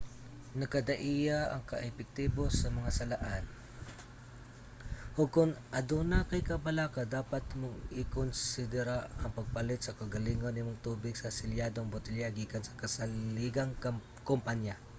nagkadaiya ang ka-epektibo sa mga salaan ug kon aduna kay kabalaka dapat nimong ikonsedera ang pagpalit sa kaugalingon nimong tubig sa selyadong botelya gikan sa kasaligang kompanya